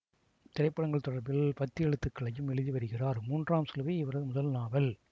திரைப்படங்கள் தொடர்பில் பத்தி எழுத்துக்களையும் எழுதி வருகிறார் மூன்றாம் சிலுவை இவரது முதல் நாவல்